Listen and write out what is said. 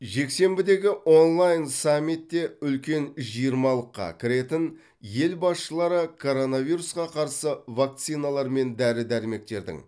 жексенбідегі онлайн саммитте үлкен жиырмалыққа кіретін ел басшылары коронавирусқа қарсы вакциналар мен дәрі дәрмектердің